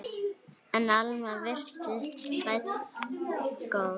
En Alma virtist fædd góð.